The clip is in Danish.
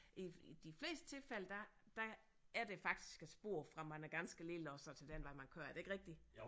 I de fleste tilfælde der der er der faktisk et spor fra man er ganske lille og så til den vej man kører er det ikke rigtigt